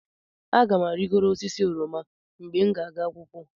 Aga m arịgoro osisi oroma mgbe m ga-aga akwụkwọ.